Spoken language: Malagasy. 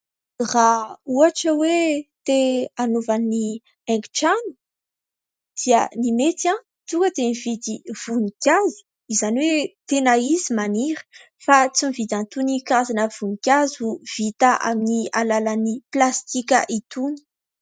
Raha ohatra hoe te hanaova ny haingotrano dia ny mety tonga dia mividy voninkazo izany hoe tena izy maniry fa tsy mividy an'itony karazana voninkazo vita amin'ny alalan'ny plastika itony.